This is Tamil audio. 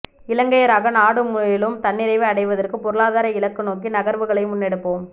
இலங்கையராக நாடு மேலும் தன்னிறைவு அடைவதற்கு பொருளாதார இலக்கு நோக்கி நகர்வுகளை முன்னெடுப்போம்